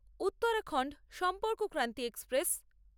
Uttarakhand Sampark Kranti express